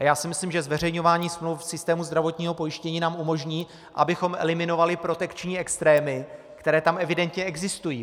A já si myslím, že zveřejňování smluv v systému zdravotního pojištění nám umožní, abychom eliminovali protekční extrémy, které tam evidentně existují.